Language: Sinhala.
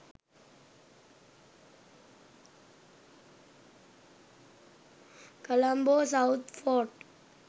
colombo south fort